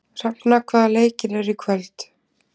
Hrefna, hvaða leikir eru í kvöld?